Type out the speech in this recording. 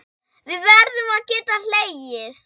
Við verðum að geta hlegið.